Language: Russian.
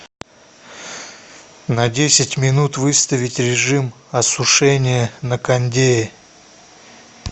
на десять минут выставить режим осушения на кондее